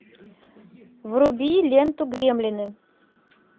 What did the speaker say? вруби ленту гремлины